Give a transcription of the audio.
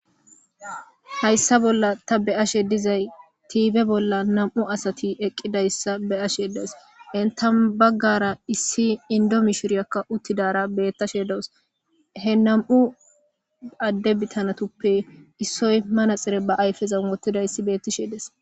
hayssa bolla ta be ashe dizay tiibe bolla nam7u asati eqqidayssa be7ashe dees entan baggara issi indo mishiriyakka uttidara bettashe doos he nam7u adde bitanatuppe issoy manaxire ba ayfezan wottida issi beettishedes